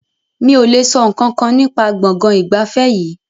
Mi o le sọ nkankan nípa gbọ̀ngàn ìgbafẹ́ yìí.